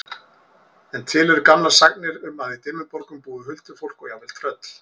En til eru gamlar sagnir um að í Dimmuborgum búi huldufólk og jafnvel tröll.